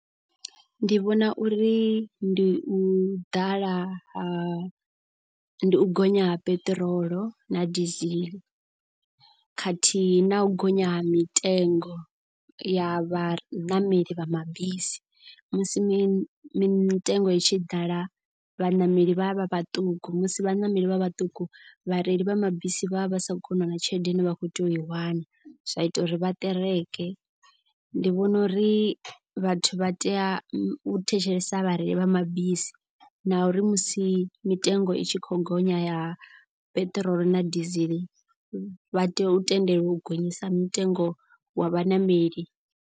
Ndi vhona uri ndi u ḓala ha ndi u gonya ha peṱirolo na diesel khathihi na u gonya ha mitengo ya vhaṋameli vha mabisi. Musi mitengo i tshi ḓala vhaṋameli vha vha vhaṱuku musi vhaṋameli vha vhaṱuku vhareili vha mabisi vha vha vha sa koni u wana tshelede ine vha kho tea u i wana. Zwa ita uri vha kereke ndi vhona uri vhathu vha tea u thetshelesa vhareili vha mabisi. Na uri musi mitengo i tshi kho gonya ya peṱirolo na diesel vha tea u tendeliwa u gonyisa mitengo wa vhaṋameli.